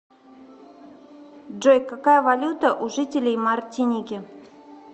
джой какая валюта у жителей мартиники